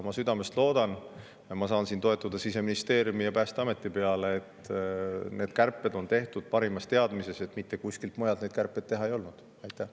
Ma südamest loodan – ma saan siin toetuda Siseministeeriumi ja Päästeameti –, et need kärped tehti parimas teadmises, et mitte kuskil mujal neid teha ei olnud võimalik.